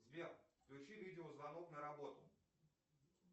сбер включи видео звонок на работу